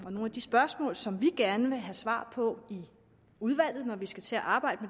og nogle af de spørgsmål som vi gerne vil have svar på i udvalget når vi skal til at arbejde